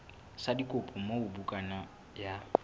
sa dikopo moo bukana ya